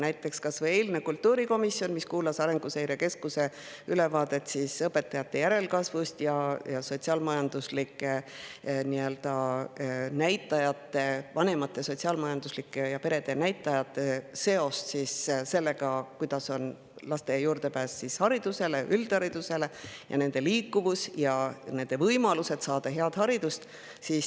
Näiteks kas või eile kultuurikomisjon kuulas Arenguseire Keskuse ülevaadet õpetajate järelkasvust ning vanemate ja perede sotsiaalmajanduslike näitajate seosest sellega, milline on laste juurdepääs haridusele ja üldharidusele ning nende liikuvus ja võimalused saada head haridust.